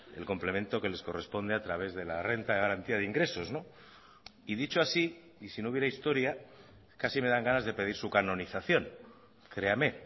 el complemento que les corresponde a través de la renta de garantía de ingresos y dicho así y si no hubiera historia casi me dan ganas de pedir su canonización créame